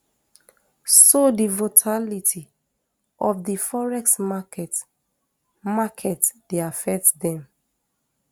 so di votality of di forex market market dey affect dem